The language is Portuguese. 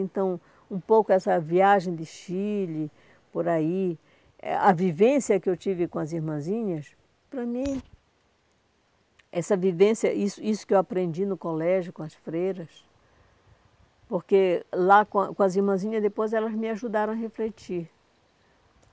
Então, um pouco essa viagem de Chile, por aí, eh a vivência que eu tive com as irmãzinhas, para mim, essa vivência, isso isso que eu aprendi no colégio com as freiras, porque lá com a com as irmãzinhas, depois elas me ajudaram a refletir.